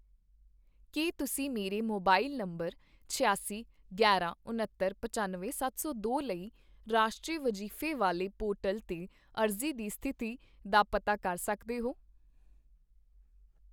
ਕੀ ਤੁਸੀਂ ਮੇਰੇ mobile number ਛਿਆਸੀ ਗਿਆਰਾਂ ਉਣੱਤਰ ਪਚਾਨਵੇਂ ਸੱਤ ਸੌ ਦੋ ਲਈ ਰਾਸ਼ਟਰੀ ਵਜੀਫੇ ਵਾਲੇ ਪੋਰਟਲ 'ਤੇ ਅਰਜ਼ੀ ਦੀ ਸਥਿਤੀ ਦਾ ਪਤਾ ਕਰ ਸਕਦੇ ਹੋ?